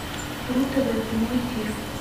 ру тв прямой эфир